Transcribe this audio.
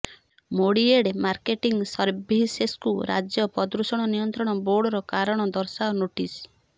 MediAid marketing ସର୍ଭିସେସ୍କୁ ରାଜ୍ୟ ପ୍ରଦୂଷଣ ନିୟନ୍ତ୍ରଣ ବୋର୍ଡ଼ର କାରଣ ଦର୍ଶାଅ ନୋଟିସ୍